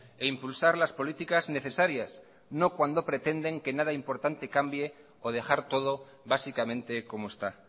e impulsar las políticas necesarias no cuando pretenden que nada importante cambie o dejar todo básicamente como está